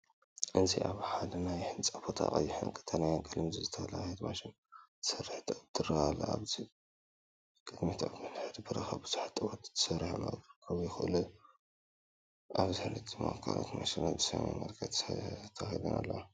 እዚ ኣብ ሓደ ናይ ህንጻ ቦታ፡ ቀይሕን ቀጠልያን ቀለም ዝተለኽየት ማሽን ትሰርሕ ጡብ ትረአ ኣላ። ኣብ ቅድሚት ኣብ ምድሪ በረኻ ብዙሓት ጡባት ተዘርጊሖም ክቐርቡ እንከለዉ፡ ኣብ ድሕሪት ድማ ካልኦት ማሽናት ብሰማያዊ መልክዕ ተተኺለን ኣለዋ።